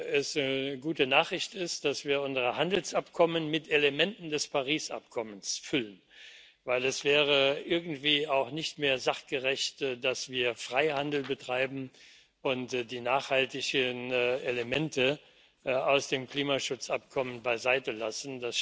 es eine gute Nachricht ist, dass wir unsere Handelsabkommen mit Elementen des Übereinkommens von Paris füllen, denn es wäre irgendwie auch nicht mehr sachgerecht, dass wir Freihandel betreiben und die nachhaltigen Elemente aus dem Klimaschutzübereinkommen beiseitelassen.